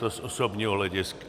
To z osobního hlediska.